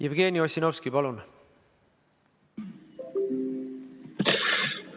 Jevgeni Ossinovski, palun!